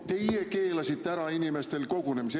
"Teie keelasite ära inimestel kogunemise.